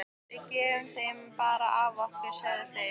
Við gefum þér bara af okkar, sögðu þeir.